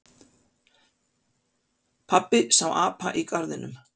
Pabbi sá apa í garðinum.